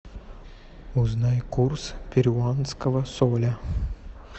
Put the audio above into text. узнай курс перуанского соля